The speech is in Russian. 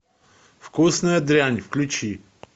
вкусная дрянь включи